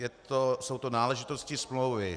Jsou to náležitosti smlouvy: